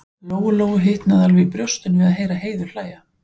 Lóu-Lóu hitnaði alveg í brjóstinu við að heyra Heiðu hlæja.